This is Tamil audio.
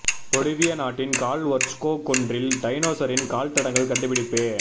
பொலிவியா நாட்டின் கால் ஒர்ச்கோ குன்றில் டைனோசரின் கால்தடங்கள் கண்டுபிடிப்பு